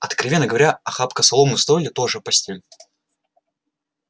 откровенно говоря охапка соломы в стойле тоже постель